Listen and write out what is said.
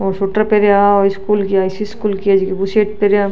औ सूटर पहना और स्कूल की है जकी बुर्सट पैरा --